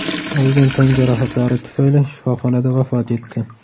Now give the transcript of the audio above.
olgan tan jarohatlari tufayli shifoxonada vafot etdi.